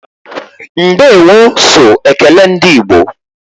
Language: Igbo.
Ndeewo so ekele ndị igbo